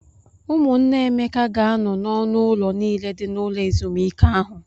Ụmụnne Emeka ga-anọ n'ọnụ ụlọ niile dị n'ụlọ ezumike ahụ.